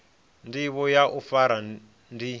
ndivho ya u fara ndi